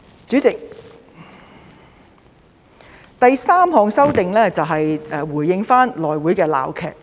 主席，第三項修訂是回應內會的鬧劇。